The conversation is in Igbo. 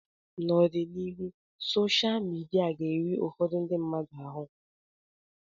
N'ọdịnihu sosha midia ga-eri ụfọdụ ndị mmadụ ahụ